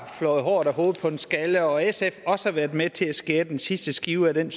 flået håret af hovedet på en skaldet og at sf også har været med til at skære den sidste skive af den